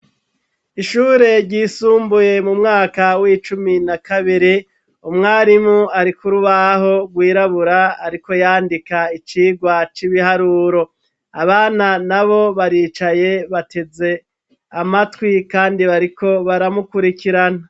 Ishure ryisumbuye mu mwaka w'icumi na kabiri, umwarimu ari ku rubaho rwirabura, ariko yandika icigwa c'ibiharuro. Abana nabo baricaye bateze amatwi kandi bariko baramukurikirana.